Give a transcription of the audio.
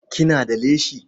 Kina da leshi?